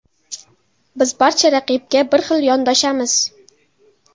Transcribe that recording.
Biz barcha raqibga bir xil yondoshamiz.